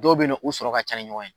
Dɔw be yen nɔn, u sɔrɔ ka ca ni ɲɔgɔn ɲe